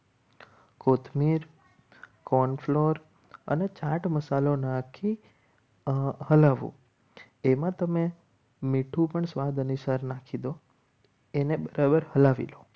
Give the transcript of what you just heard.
કોથમીર corn flour અને ચાટ મસાલો નાખી એમાં તમે મીઠું પણ સ્વાદ અનુસાર નાખી દો એને બરાબર હલાવી લો.